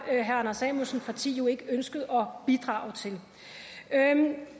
herre anders samuelsens parti jo ikke ønsket at bidrage til